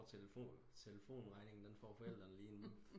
Og telefonregningen den får forældrene lige inden